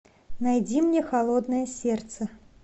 найди мне холодное сердце